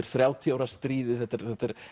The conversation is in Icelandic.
þrjátíu ára stríðið þetta er